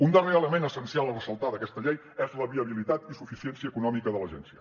un darrer element essencial a ressaltar d’aquesta llei és la viabilitat i suficiència econòmica de l’agència